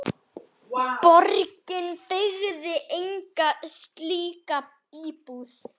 Svo varð ekkert aftur snúið.